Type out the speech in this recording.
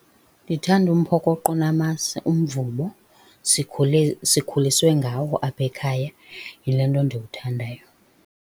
Ndithanda umphokoqo onamasi, umvubo. Sikhule sikhuliswe ngawo apha ekhaya, yile nto ndiwuthandayo.